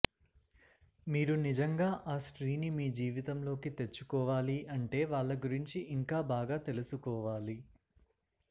మీరు నిజంగా ఆ స్త్రీని మీ జీవితంలోకి తెచ్చుకోవాలి అంటే వాళ్ళ గురించి ఇంకా బాగా తెలుసుకోవాలి